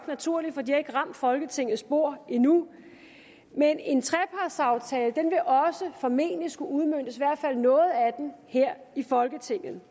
naturligt for de har ikke ramt folketingets bord endnu men en trepartsaftale vil formentlig også skulle udmøntes her i folketinget